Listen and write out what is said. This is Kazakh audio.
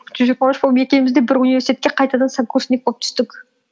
жүз жиырма үш болып екеуміз де бір университетке қайтадан сокурсник болып түстік